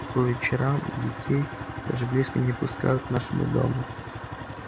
по вечерам детей даже близко не пускают к нашему дому